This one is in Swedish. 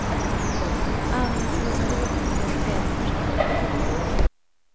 Armen svullnade upp och blev helt förstörd.